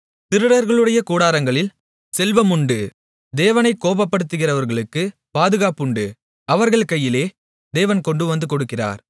திருடர்களுடைய கூடாரங்களில் செல்வமுண்டு தேவனைக் கோபப்படுத்துகிறவர்களுக்கு பாதுகாப்புண்டு அவர்கள் கையிலே தேவன் கொண்டுவந்து கொடுக்கிறார்